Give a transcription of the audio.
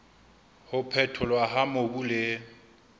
ho phetholwa ha mobu le